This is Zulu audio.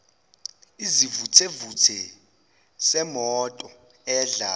isivuthevuthe semoto edla